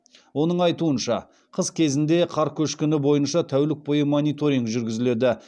оның айтуынша қыс кезеңінде қар көшкіні бойынша тәулік бойы мониторинг жүргізіледі